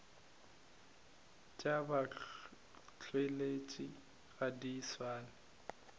tša batšweletši ga di swane